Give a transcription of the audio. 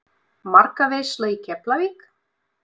Markaveisla í Keflavík?